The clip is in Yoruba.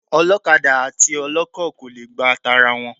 Ọlọ́kadà àti ọlọ́kọ̀ kò le gba tara wọn.